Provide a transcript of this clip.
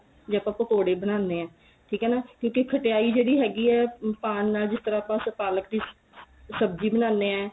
ਜੇ ਆਪਾਂ ਪਕੋੜੇ ਬਣਾਨੇ ਆ ਠੀਕ ਏ ਨਾ ਇੱਕ ਇਹ ਖਟਿਆਈ ਜਿਹੜੀ ਹੈਗੀ ਏ ਪਾਣ ਨਾਲ ਜਿਸ ਤਰ੍ਹਾਂ ਆਪਾਂ ਪਾਲਕ ਦੀ ਸਬਜੀ ਬਣਾਨੇ ਏ